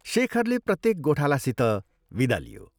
शेखरले प्रत्येक गोठालासित विदा लियो।